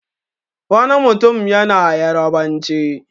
Wani mutum yana Yarabanci.